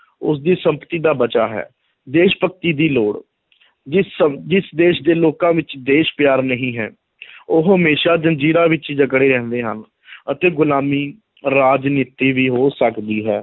ਉਸਦੀ ਸੰਪਤੀ ਦਾ ਬਚਾਅ ਹੈ, ਦੇਸ਼ ਭਗਤੀ ਦੀ ਲੋੜ ਜਿਸ ਸ~ ਜਿਸ ਦੇਸ਼ ਦੇ ਲੋਕਾਂ ਵਿੱਚ ਦੇਸ਼ ਪਿਆਰ ਨਹੀਂ ਹੈ ਉਹ ਹਮੇਸ਼ਾ ਜ਼ੰਜੀਰਾਂ ਵਿੱਚ ਹੀ ਜਕੜੇ ਰਹਿੰਦੇ ਹਨ ਅਤੇ ਗੁਲਾਮੀ, ਰਾਜਨੀਤੀ ਵੀ ਹੋ ਸਕਦੀ ਹੈ,